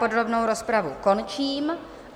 Podrobnou rozpravu končím.